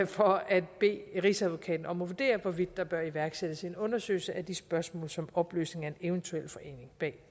for at bede rigsadvokaten om at vurdere hvorvidt der bør iværksættes en undersøgelse af de spørgsmål som opløsningen af eventuel forening bag